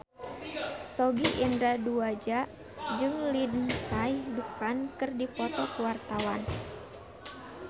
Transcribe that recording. Sogi Indra Duaja jeung Lindsay Ducan keur dipoto ku wartawan